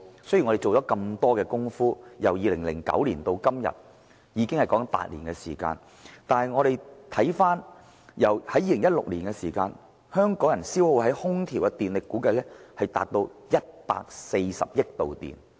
雖然我們做了很多工夫，由2009年至今已有8年，但香港人在2016年消耗在空調上的電力，估計達至140億度電。